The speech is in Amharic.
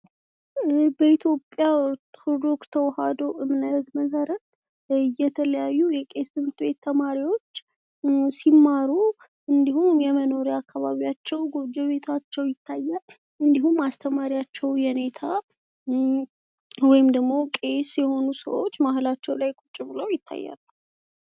በኢትዮጵያ የተዋህዶ እምነት መሰረት የተለያዩ የቄስ ትምህርት ተማሪወች ሲማሩ እንዲሁም የመኖሪያ አካባቢያቸው፣ መኖሪያ ቤታችቸው ይታያል። እንዲሁም አስተማሪያቸው የኔታ ወይም ደግሞ ቄስ የሆኑ ሰወች መሃላቸው ላይ ቁች ብለው ይታያሉ።